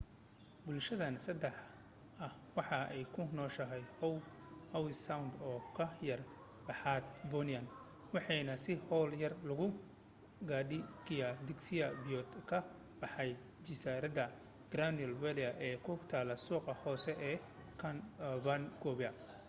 bulshhadan saxda ah waxay ku nooshahay howe sound oo ka yara baxaab vancouver waxana si hawl yar loogu gaadhi kaeaa tagsi biyood ka baxa jasiiradda grandville ee ku taal suuqa hoose ee vancouver